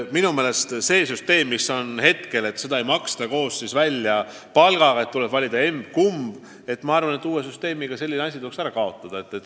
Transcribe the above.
Minu meelest praegune süsteem, mille kohaselt seda pensioni koos palgaga ei maksta ja tuleb valida emb-kumb, tuleks ära kaotada.